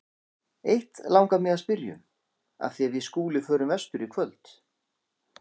Eitt langar mig að spyrja um, af því við Skúli förum vestur í kvöld.